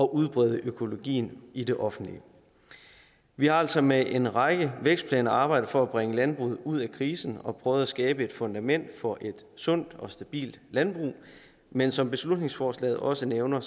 udbrede økologien i det offentlige vi har altså med en række vækstplaner arbejdet for at bringe landbruget ud af krisen og prøve at skabe et fundament for et sundt og stabilt landbrug men som beslutningsforslaget også nævner